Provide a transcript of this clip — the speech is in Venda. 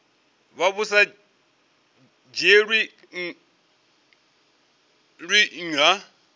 vha vhu sa dzhielwi nha